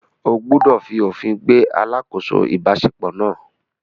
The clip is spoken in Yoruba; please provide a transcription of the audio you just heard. O gbúdọ̀ fi òfin gbé “ alákòóso ìbáṣepọ̀ ” náà.